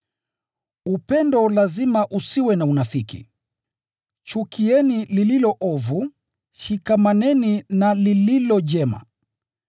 Upendo lazima usiwe na unafiki. Chukieni lililo ovu, shikamaneni na lililo jema.